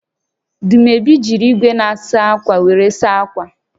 Dumebi jiri igwe na-asa akwa were saa akwa